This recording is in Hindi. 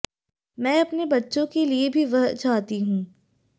मैं अपने बच्चो के लिए भी वह चाहती हूं